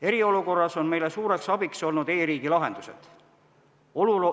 Eriolukorras on meile suureks abiks olnud e-riigi lahendused.